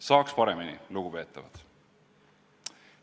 Saaks paremini, lugupeetavad!